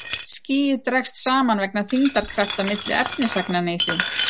Skýið dregst saman vegna þyngdarkrafta milli efnisagnanna í því.